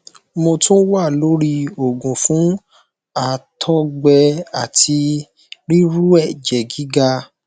mo tun wa lori oogun fun àtọgbẹ ati riru ẹjẹ giga